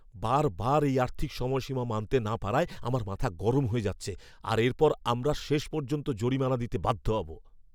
বারবার এই আর্থিক সময়সীমা মানতে না পারায় আমার মাথা গরম হয়ে যাচ্ছে আর এরপর আমরা শেষ পর্যন্ত জরিমানা দিতে বাধ্য হব!